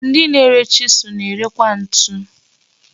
Ndị na-ere chisụl na-ere kwa ntu.